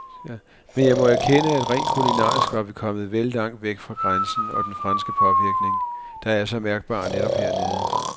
Men jeg må erkende, at rent kulinarisk var vi kommet vel langt væk fra grænsen og den franske påvirkning, der er så mærkbar netop hernede.